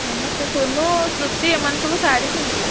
ସମସ୍ତେ ସୋନୁ, ତୃପ୍ତି ଏମାନେ ସବୁ ଶାଢୀ ପିନ୍ଧିବେ।